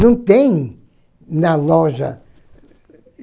Não tem na loja.